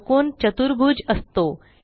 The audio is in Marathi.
चौकोन चतुर्भुज असतो